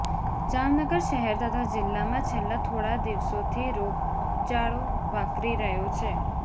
જામનગર શહેર તથા જીલ્લામાં છેલ્લા થોડા દિવસોથી રોગચાળો વકરી રહ્યો છે